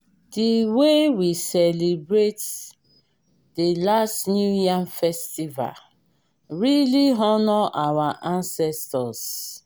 di wey we celebrate di last new yam festival really honour our ancestors